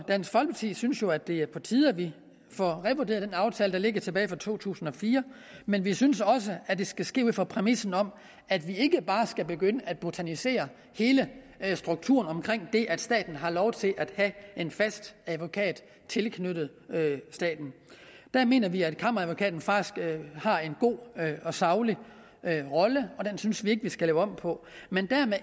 dansk folkeparti synes jo at det er på tide at vi får revurderet den aftale der ligger tilbage fra to tusind og fire men vi synes også at det skal ske ud fra præmissen om at vi ikke bare skal begynde at botanisere hele strukturen omkring det at staten har lov til at have en fast advokat tilknyttet der mener vi at kammeradvokaten faktisk har en god og saglig rolle og den synes vi ikke at vi skal lave om på men dermed